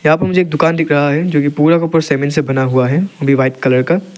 यहां मुझे एक दुकान दिख रहा है जोकि पूरा का पूरा सीमेंट से बना हुआ है वो भी व्हाइट कलर का --